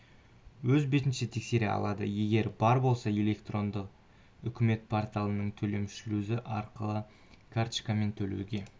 өз бетінше тексере алады егер бар болса электрондық үкімет порталының төлем шлюзі арқылы карточкамен төлеуге